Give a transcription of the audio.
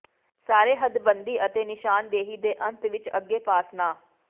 ਸਾਰੇ ਹੱਦਬੰਦੀ ਅਤੇ ਨਿਸ਼ਾਨਦੇਹੀ ਦੇ ਅੰਤ ਵਿੱਚ ਅੱਗੇ ਪਾਸ ਨਾ